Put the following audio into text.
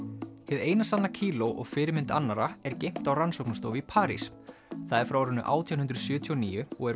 hið eina sanna kíló og fyrirmynd annarra er geymt á rannsóknarstofu í París það er frá árinu átján hundruð sjötíu og níu og er